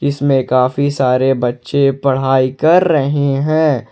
इसमें काफी सारे बच्चे पढ़ाई कर रहे हैं।